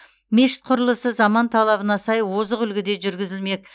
мешіт құрылысы заман талабына сай озық үлгіде жүргізілмек